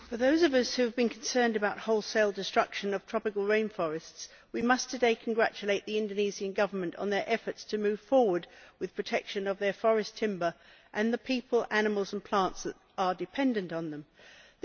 For those of us who have been concerned about wholesale destruction of tropical rain forests, we must today congratulate the Indonesian Government on its efforts to move forward with protection of forest timber and the people, animals and plants that are dependent on it.